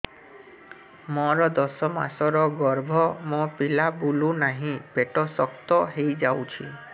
ମୋର ଦଶ ମାସର ଗର୍ଭ ମୋ ପିଲା ବୁଲୁ ନାହିଁ ପେଟ ଶକ୍ତ ହେଇଯାଉଛି